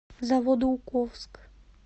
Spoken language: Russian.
заводоуковск